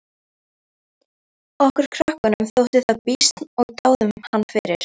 Okkur krökkunum þótti það býsn og dáðum hann fyrir.